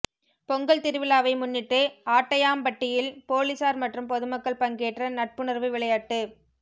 பொங்கல் திருவிழாவை முன்னிட்டு ஆட்டையாம்பட்டியில் போலீஸாா் மற்றும் பொதுமக்கள் பங்கேற்ற நட்புணா்வு விளையாட்டுப்